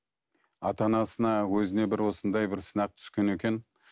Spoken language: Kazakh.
ата анасына өзіне бір осындай бір сынақ түскен екен